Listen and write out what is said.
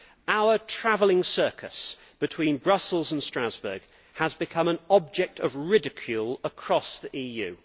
Our travelling circus between Brussels and Strasbourg has become an object of ridicule across the EU.